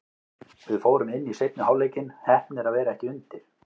Við fórum inn í seinni hálfleikinn, heppnir að vera ekki undir.